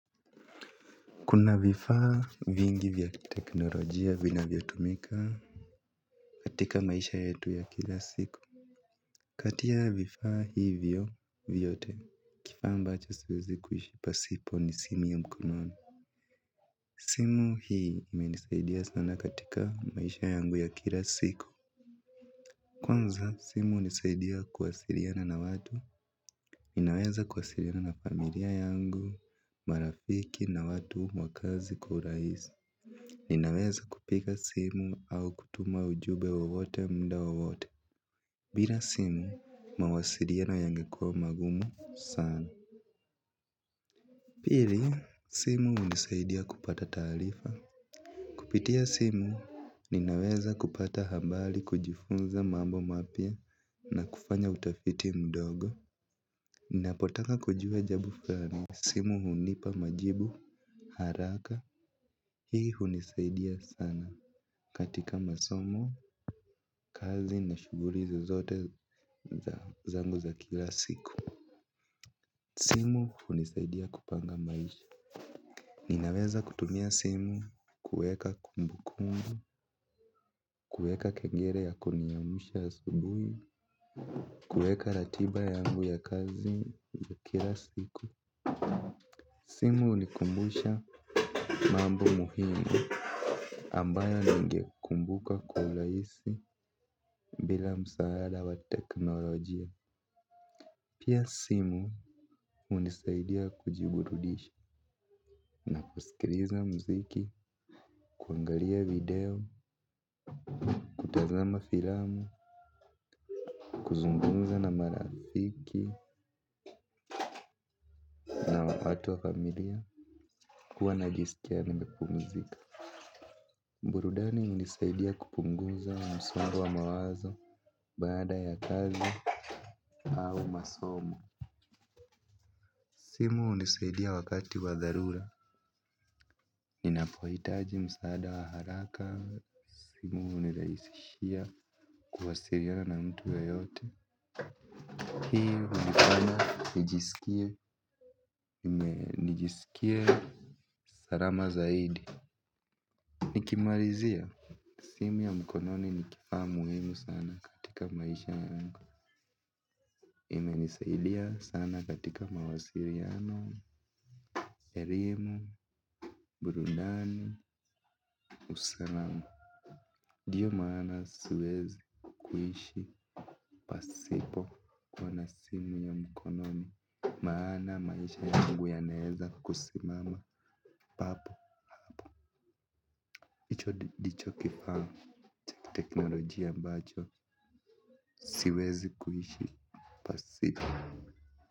Kuna vifaa vingi vya teknolojia vinavyo tumika katika maisha yetu ya kila siku. Kati ya vifaa hivyo vyote kifaa ambacho siwezi kuishi pasipo ni simu ya mkononi. Simu hii ime nisaidia sana katika maisha yangu ya kila siku. Kwanza simu hunisaidia kuwasiliana na watu ninaweza kuwasiliana na familia yangu, marafiki na watu mwakazi kwa uraisi. Ninaweza kupika simu au kutuma ujube wowote mda wa wote. Bila simu mawasiliano yangekua magumu sana. Pili simu unisaidia kupata taalifa. Kupitia simu ninaweza kupata hambali kujifunza mambo mapya na kufanya utafiti mdogo. Ninapotaka kujua jabu fulani simu hunipa majibu haraka hii hunisaidia sana. Katika masomo, kazi na shuguli zozote zangu za kila siku simu hunisaidia kupanga maisha. Ninaweza kutumia simu. Kueka kumbukumbu kueka kengere ya kuniamusha asubuhi kueka ratiba yangu ya kazi za kila siku simu unikumbusha mambo muhimu ambayo ninge kumbuka kwa ulaisi bila msaada wa teknolojia. Pia simu hunisaidia kujiburudisha na kusikiliza mziki, kuangalia video, kutazama filamu, kuzungumza na marafiki na watu wa familia kuwa najisikia nimepumzika. Burudani hunisaidia kupunguza msongo wa mawazo baada ya kazi au masomo. Simu hunisaidia wakati wa dharura. Ninapoitaji msaada wa haraka. Simu huniraisishia kuwasiliana na mtu yoyote. Hii hunifanya Nijisikie Nijisikie Sarama zaidi. Nikimalizia simu ya mkononi nikifaa muhimu sana katika maisha yangu. Imenisaidia sana katika mawasiliano elimu. Burudani Usalamu. Diyo maana siwezi Kuishi Pasipo kuwa na simu ya mkononi. Maana maisha yangu yanaeza kusimama. Papo, icho dicho kifaa cha teknolojia ambacho, siwezi kuishi pasipo.